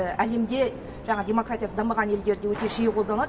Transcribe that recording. әлемде жаңағы демократиясы дамыған елдерде өте жиі қолданылады